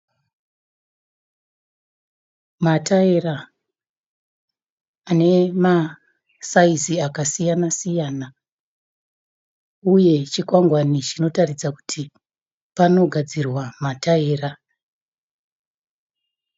Mataira ane ma saizi akasiyana siyana, uye chikwangwani chinoratidza kuti pano gadzirwa mataira.